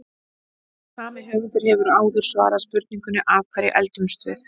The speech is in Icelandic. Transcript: Sami höfundur hefur áður svarað spurningunni Af hverju eldumst við?